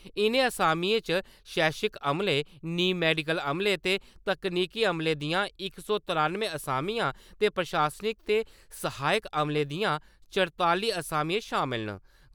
इ'नें असामिएं शैक्षिक अमले, नीम मैडिकल अमले ते तकनीकी अमले दियां इक सौ त्रानुए असामियां ते प्रशासनिक ते सहायक अमले दियां चरताली असामियां शामल न।